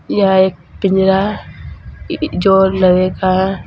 यहां एक पिंजरा जो लोहे का है।